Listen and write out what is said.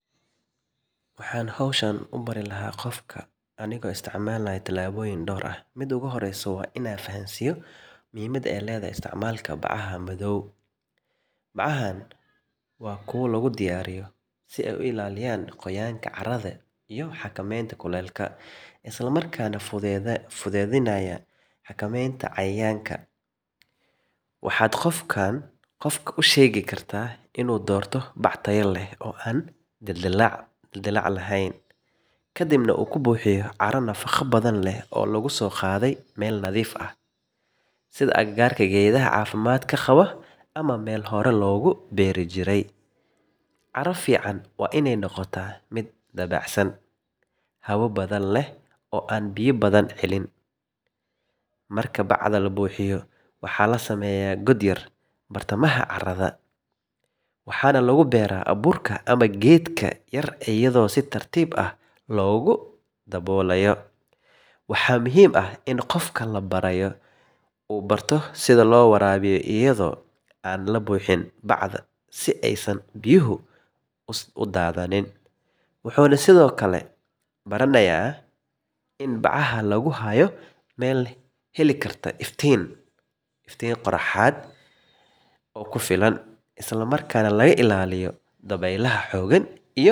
Waxan howshaan ubari lahay gofka anigo isticmalayo talaboyin door ah, muda oguhoreyso wa ina fahansiyo muxiimada ay ledahay isticmalka dibcaha madow, dibcahan wa kuwa lagudiyariyo si ay uilaliyan goyanka, iyo hakamenta dulka, islamarkana fudeydinayo hakamenta ,waxad gofkan ushegi karta inu doorto bac tayo leh oo an dildilac lehen, kadibna uu kubuhiyo caroi nafago leh oo lagadogadey meel nadiif ah, sida agagarka geedha cafimadka gawoo, ama mel horan loguberi jirey, cara fican wa inay nogota mid dabacsan hawo badan leh an biya badan helin, marka bacda labuhiyo waxa lasameya wadamaha carada, waxana laguberaa aburka ama geedka yar iyado si tartib ah ogudabolayo, waxa muxiim ah in gofka labarayo uu barto sidha lowarabiyo iyado aad labuhiin aysan biyaha udadanin, wuxuna Sidhokale baranaya in bacaha laguhayo meel helikarta iftiin qoraxad oo kufulaan islamarkana lagailaliyo dabeylaha .